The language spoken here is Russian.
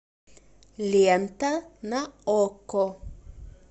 лента на окко